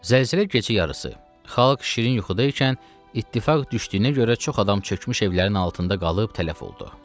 Zəlzələ gecə yarısı, xalq şirin yuxuda ikən ittifaq düşdüyünə görə çox adam çökmüş evlərin altında qalıb tələf oldu.